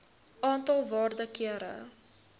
aantal waarde kere